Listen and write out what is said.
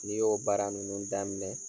N'i y'o baara ninnu daminɛ